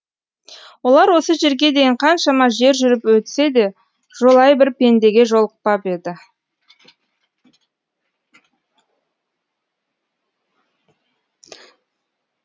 олар осы жерге дейін қаншама жер жүріп өтсе де жолай бір пендеге жолықпап еді